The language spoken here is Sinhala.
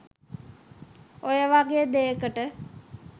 ඔය වගේ දේකට